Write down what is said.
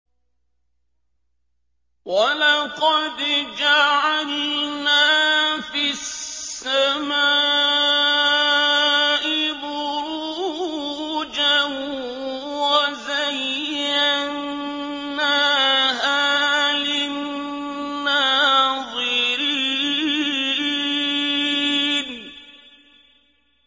وَلَقَدْ جَعَلْنَا فِي السَّمَاءِ بُرُوجًا وَزَيَّنَّاهَا لِلنَّاظِرِينَ